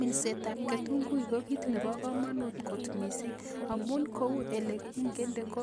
Minsetab kitunguik ko kiit nebo komonut kot mising' amun kou ole kingende ko